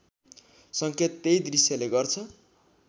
सङ्केत त्यही दृश्यले गर्छ